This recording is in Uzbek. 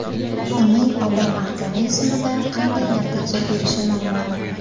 Uning odam organizmida qanday natija berishi noma’lum.